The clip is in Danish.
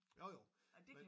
Jo jo men